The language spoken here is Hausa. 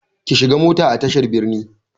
Ki shiga mota a tashar birni!